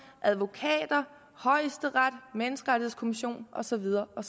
advokater højesteret en menneskerettighedskommission og så videre og